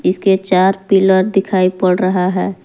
इसके चार पिलर दिखाई पड़ रहा है।